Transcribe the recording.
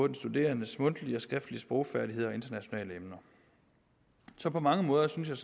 den studerendes mundtlige og skriftlige sprogfærdigheder og internationale emner så på mange måder synes jeg